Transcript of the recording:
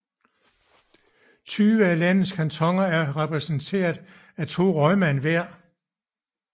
Tyve af landets kantoner er repræsenteret af to rådmænd hver